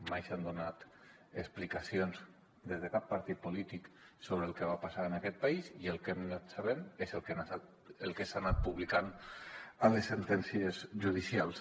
mai s’han donat explicacions des de cap partit polític sobre el que va passar en aquest país i el que hem anat sabent és el que s’ha anat publicant a les sentències judicials